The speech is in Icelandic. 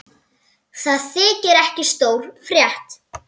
Það þykir ekki stór frétt.